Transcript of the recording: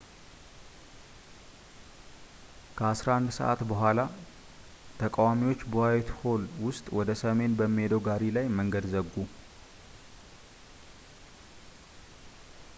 ከ11፡00 በኋላ፣ ተቃዋሚዎች በዋይትሆል ውስጥ ወደ ሰሜን በሚሄደው ጋሪ ላይ መንገድ ዘጉ